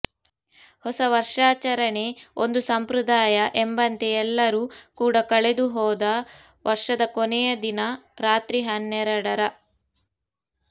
ಹೊಸ ವರ್ಷಾಚರಣೆ ಒಂದು ಸಂಪ್ರದಾಯ ಎಂಬಂತೆ ಎಲ್ಲರೂ ಕೂಡಾ ಕಳೆದು ಹೋದ ವರ್ಷದ ಕೊನೆಯ ದಿನ ರಾತ್ರಿ ಹನ್ನೆರಡರ